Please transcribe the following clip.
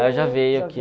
Ela já veio aqui.